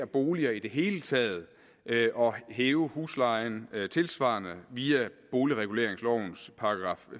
boliger i det hele taget og hæve huslejen tilsvarende via boligreguleringslovens §